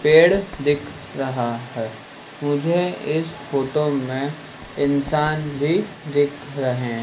पेड़ दिख रहा है मुझे इस फोटो में इंसान भी दिख रहे--